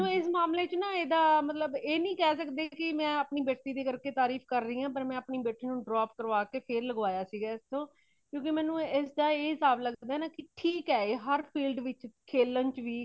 ਤੇ ਮੇਨੂ ਇਸ ਮਾਮਲੇ ਚ ਮਤਲੱਬ ਏਦਾਂ ਇਹ ਨਹੀਂ ਕੇ ਸਕਦੇ ਕੀ ਮੈਂ ਆਪਣੇ ਬੇਟੀ ਦੇ ਕਰਕੇ ਤਾਰੀਫ ਕਰ ਰਹੀ ਹਾ , ਪਰ ਮੇ ਅਪਣੀ ਬੇਟੀ ਨੂੰ drop ਕਰਵਾਕੇ ਫ਼ੇਰ ਲਗਵਾਯਾ ਸੀ , ਕਿਉਂਕਿ ਮੈਨੂੰ ਇਸਦਾ ਇਹ ਹਿਸਾਬ ਲੱਗਦਾ ਕੇ ਠੀਕ ਹੇ ਇਹ ਹਰ filed ਚ ਖੇਲਨ ਚ ਵੀ